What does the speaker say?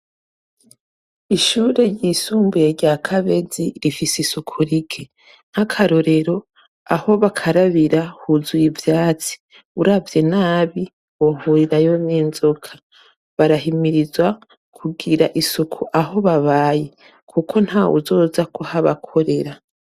Ishure ry'isumbuye rya Kabezi rifise isuku rike, nk'akarorero aho bakarabira huzuye ivyatsi. Uravye nabi wohurirayo n'inzoka. Barahimizwa kugira isuku aho babaye, kuko ntawuzoza kuhabakorera.